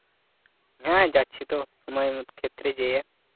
হ্যাঁ যাচ্ছি তো কোনো অমুক ক্ষেত্রে যেয়ে